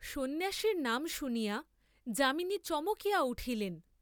সন্ন্যাসীর নাম শুনিয়া যামিনী চমকিয়া উঠিলেন।